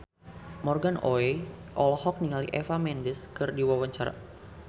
Morgan Oey olohok ningali Eva Mendes keur diwawancara